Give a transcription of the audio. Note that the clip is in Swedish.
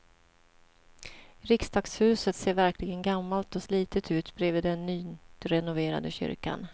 Riksdagshuset ser verkligen gammalt och slitet ut bredvid den nyrenoverade kyrkan.